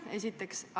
Seda esiteks.